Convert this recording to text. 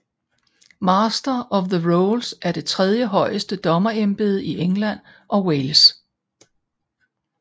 Master of the Rolls er det tredje højeste dommerembede i England og Wales